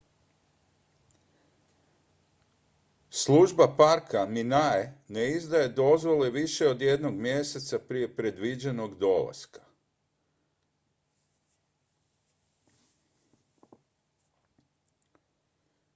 služba parka minae ne izdaje dozvole više od jednog mjeseca prije predviđenog dolaska